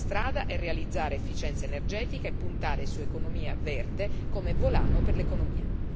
La strada è realizzare efficienza energetica e puntare su economia verde come volano per l'economia.